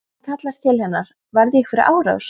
Hann kallar til hennar: Varð ég fyrir árás?